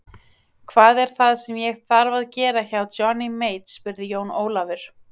Hvað er það sem ég þarf að gera hjá Johnny Mate spurði Jón Ólafur.